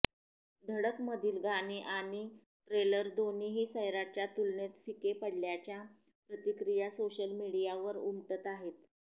धडकमधील गाणी आणि ट्रेलर दोन्ही सैराटच्या तुलनेत फिके पडल्याच्या प्रतिक्रया सोशल मीडियावर उमटत आहेत